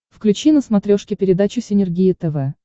включи на смотрешке передачу синергия тв